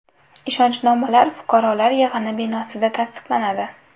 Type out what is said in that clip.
Ishonchnomalar fuqarolar yig‘ini binosida tasdiqlanadi.